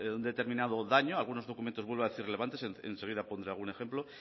un determinado daño algunos documentos vuelvo a decir relevantes enseguida pondré algún ejemplo